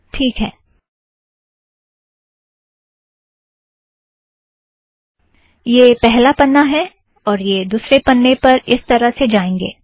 ठीक है - यह पहला पन्ना है और यह दुसरे पन्ने पर इस तरह से जाएंगें